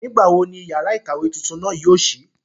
Nígbà wo ni yàrá ìkàwé tuntun náà yóò ṣí?